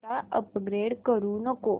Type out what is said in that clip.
आता अपग्रेड करू नको